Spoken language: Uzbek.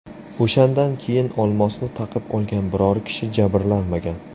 O‘shandan keyin olmosni taqib olgan biror kishi jabrlanmagan.